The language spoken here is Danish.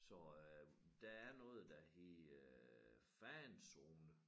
Så øh der er noget der hedder fanzone